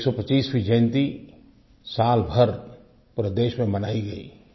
उनकी 125वी जयंती साल भर पूरे देश में मनाई गयी